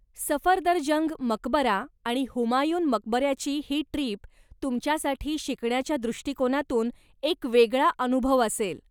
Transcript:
सफदरजंग मकबरा आणि हुमायून मकबऱ्याची ही ट्रीप तुमच्यासाठी शिकण्याच्या दृष्टीकोनातून एक वेगळा अनुभव असेल.